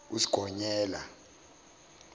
usigonyela